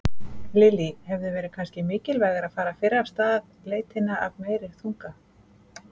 Lillý: Hefði verið kannski mikilvægara að fara fyrr af stað leitina af meiri þunga?